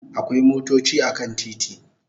Akwai motochi a kan titi